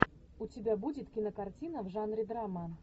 у тебя будет кинокартина в жанре драма